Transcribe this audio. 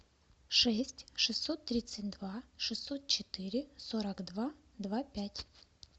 шесть шестьсот тридцать два шестьсот четыре сорок два два пять